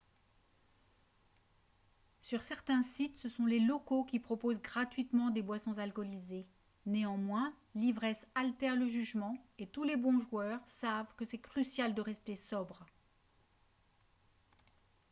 sur certains sites ce sont les locaux qui proposent gratuitement des boissons alcoolisées néanmoins l'ivresse altère le jugement et tous les bons joueurs sache que c'est crucial de rester sobre